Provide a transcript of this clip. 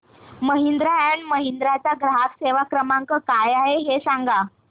Mahindra and Mahindra चा ग्राहक सेवा क्रमांक काय आहे हे सांगा